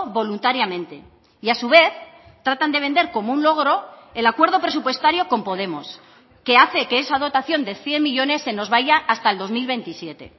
voluntariamente y a su vez tratan de vender como un logro el acuerdo presupuestario con podemos que hace que esa dotación de cien millónes se nos vaya hasta el dos mil veintisiete